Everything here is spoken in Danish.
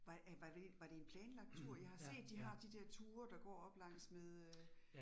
Var er var det, var det en planlagt tur I har set de har de der ture, der går oppe langs med øh